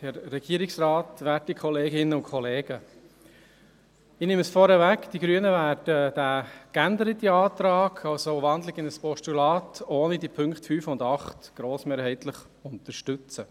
Die Grünen werden diesen geänderten Antrag – gewandelt in ein Postulat, und ohne die Punkte 5 und 8 – grossmehrheitlich unterstützen.